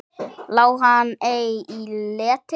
Lá hann ei í leti.